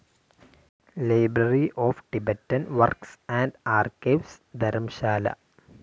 library of Tibetan works and archives, Dharamshala